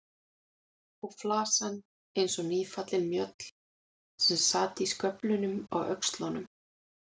Og flasan eins og nýfallin mjöll sem sat í sköflum á öxlunum.